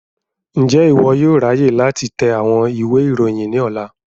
Njẹ iwọ yóò ráyè láti tẹ àwọn ìwé ìròyìn ní ọ̀la?